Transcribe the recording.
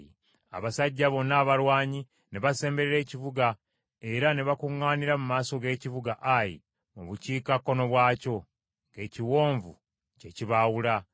Abasajja bonna abalwanyi ne basemberera ekibuga era ne bakuŋŋaanira mu maaso g’ekibuga Ayi mu bukiikakkono bwakyo, ng’ekiwonvu kye kibaawula.